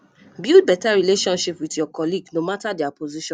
build better relationship with your colleague no matter their position